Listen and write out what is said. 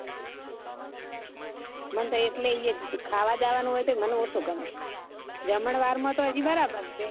મને એટલે તો ત્યાં ખાવા જવાનું હોય તો મને ઓછુ ગમે જમણવાર તો હજી બરાબર છે